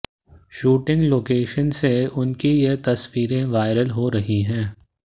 shooting location से उनकी ये तस्वीरें वायरल हो रही हैं